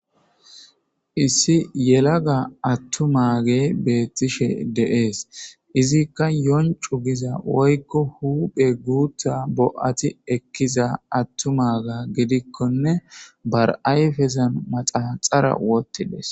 issi yelaga attumage beettishe de'ees izikka yoncu giza woykko huphe guutha bo'ati ekkiza attumaga gidikkonne bar ayfezan manaxara wottides